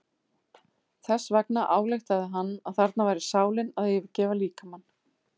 Þess vegna ályktaði hann að þarna væri sálin að yfirgefa líkamann.